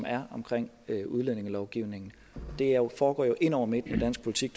er omkring udlændingelovgivningen det foregår jo ind over midten i dansk politik